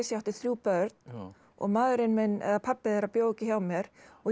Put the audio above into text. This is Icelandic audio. átti þrjú börn og maðurinn minn eða pabbi þeirra bjó ekki hjá mér og ég